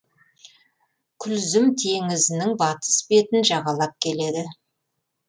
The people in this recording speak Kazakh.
күлзім теңізінің батыс бетін жағалап келеді